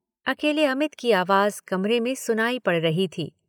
अकेले अमित की आवाज कमरे में सुनाई पड़ रही थी।